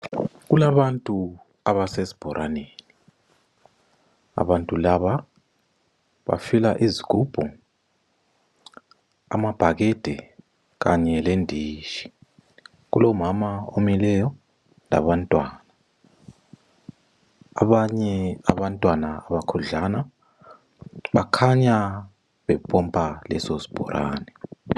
Kulabantu abasesibhoraneni, abantu laba bafila izigubhu amabhakede kanye lenditshi, kulomama omileyo labantwana, abanye abantwana bakhudlwana bakhanya bepompa leso sibhorane.